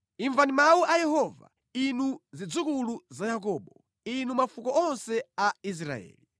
Imvani mawu a Yehova, inu zidzukulu za Yakobo, inu mafuko onse a Israeli.